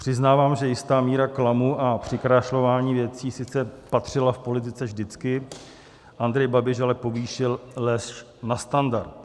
Přiznávám, že jistá míra klamu a přikrášlování věcí sice patřila v politice vždycky, Andrej Babiš ale povýšil lež na standard.